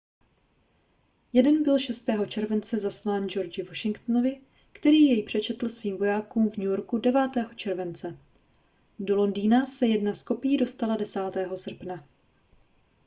jeden byl 6. července zaslán georgi washingtonovi který jej přečetl svým vojákům v new yorku 9. července do londýna se jedna z kopií dostala 10. srpna